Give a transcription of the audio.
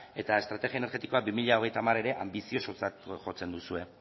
eta estrategia energetikoa bi mila hogeita hamar ere anbiziosotzat jotzen duzue